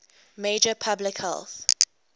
major public health